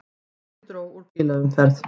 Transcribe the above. Mikið dró úr bílaumferð